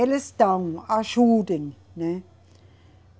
Eles dão, ajudem, né?